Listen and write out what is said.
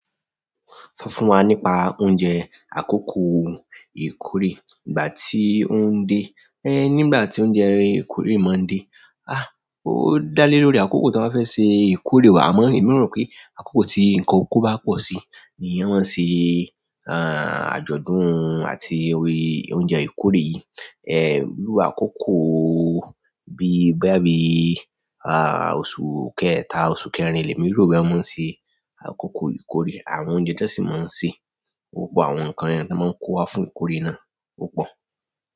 Sọ fún wa nípa oúnjẹ àkókò ìkórè nígbà tí ó ń dé, ẹ nígbà tí oúnjẹ ìkórè máa ń dé. A! Ó dá lé lórí àkókò tí wọ́n bá fẹ́ ṣe ìkórè wa, àmọ́ èmi rò pé àkókò tí nǹkan oko bá pọ̀ sí ni wọ́n máa ń ṣe àjọ̀dún àti oúnjẹ ìkórè. Irú akoko bi bóyá bí ahh, oṣù kẹta oṣù kẹrin lémi ro bóyá wọn ṣe àkókò ìkórè àwọn oúnjẹ tí wọ́n sì máa ń sè, ó pọ̀. Àwọn nǹkan yẹn tí wọ́n máa ń kó wá fún ìkórè náà ó pọ̀.